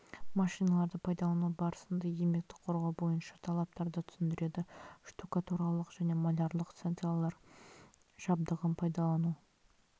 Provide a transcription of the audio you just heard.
машиналарды пайдалану барысына еңбекті қорғау бойынша талаптарды түсіндіреді штукатуралық және малярлық станциялар жабдығын пайдалану